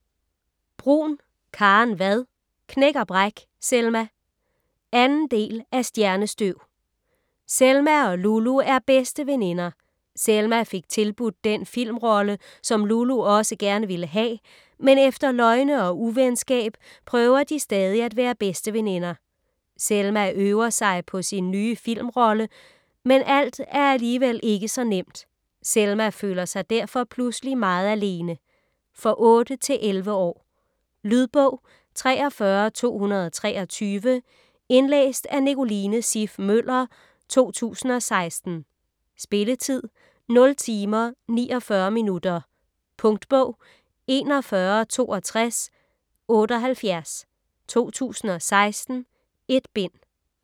Bruun, Karen Vad: Knæk og bræk, Selma 2. del af Stjernestøv. Selma og Lulu er bedste veninder. Selma fik tilbudt den filmrolle, som Lulu også gerne ville have, men efter løgne og uvenskab prøver de stadig at være bedste veninder. Selma øver sig på sin nye filmrolle, men alt er alligevel ikke så nemt. Selma føler sig derfor pludselig meget alene. For 8-11 år. Lydbog 43223 Indlæst af Nicoline Siff Møller, 2016. Spilletid: 0 timer, 49 minutter. Punktbog 416278 2016. 1 bind.